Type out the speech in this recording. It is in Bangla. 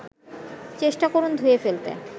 চেষ্টা করুন ধুয়ে ফেলতে